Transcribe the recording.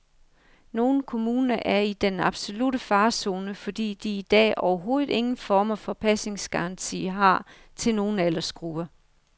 Nogle kommuner er i den absolutte farezone, fordi de i dag overhovedet ingen former for pasningsgaranti har til nogen aldersgrupper.